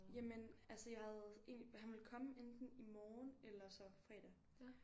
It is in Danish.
Jamen altså jeg havde en han ville komme enten i morgen eller så fredag